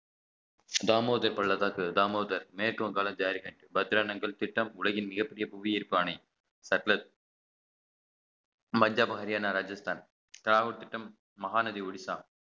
தாமோதர பள்ளத்தாக்கு தாமோதர் மேற்குவங்காள ஜாரிகண்ட் பத்ரானங்கள் திட்டம் உலகின் மிகப் பெரிய புவியீர்ப்பு ஆணை மஞ்சள் மாரியான ராஜஸ்தான் ராகுல் திட்டம் மகாநதி ஒடிசா